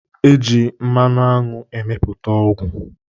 E ji mmanụ aṅụ emepụta ọgwụ.